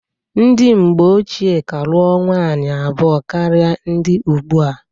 Ndi mgbe ochie ka lụọ nwanyị abụọ karịa ndị ụgbụa.